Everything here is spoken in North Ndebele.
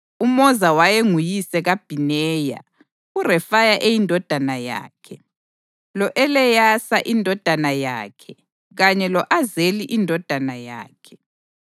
UMoza wayenguyise kaBhineya; uRefaya eyindodana yakhe, lo-Eleyasa indodana yakhe kanye lo-Azeli indodana yakhe.